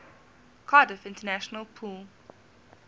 cardiff international pool